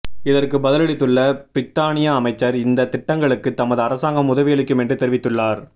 இதற்கு பதிலளித்துள்ள பிரித்தானிய அமைச்சர் இந்த திட்டங்களுக்கு தமது அரசாங்கம் உதவியளிக்கும் என்று தெரிவித்துள்ளார்